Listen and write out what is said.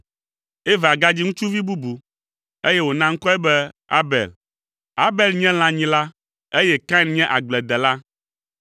Eva gadzi ŋutsuvi bubu, eye wòna ŋkɔe be Abel. Abel nye lãnyila, eye Kain nye agbledela.